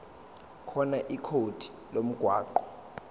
khona ikhodi lomgwaqo